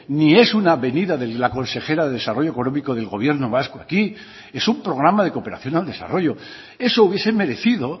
ni es una venida de la consejera de desarrollo económico del gobierno vasco aquí es un programa de cooperación al desarrollo eso hubiese merecido